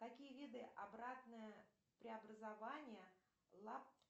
какие виды обратное преобразование